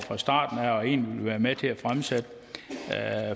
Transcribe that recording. fra starten af og egentlig ville være med til at fremsætte